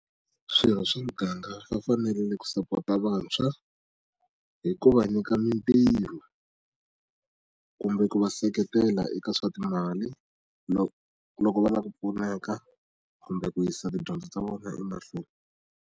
Swirho swa muganga va fanele ku support-a vantshwa hi ku va nyika mitirho kumbe ku va seketela eka swa timali loko va lava ku pfuneka kumbe ku yisa tidyondzo ta vona emahlweni.